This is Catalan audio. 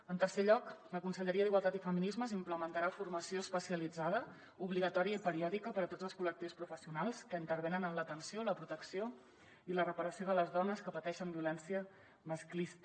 en tercer lloc la conselleria d’igualtat i feminismes implementarà formació especialitzada obligatòria i periòdica per a tots els col·lectius professionals que intervenen en l’atenció la protecció i la reparació de les dones que pateixen violència masclista